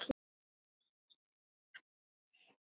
Þeir gætu ekki neitað þessu.